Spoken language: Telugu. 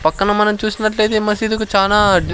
పక్కన మనం చూసినట్లు అయితే మసీదు కి చాన దిస్--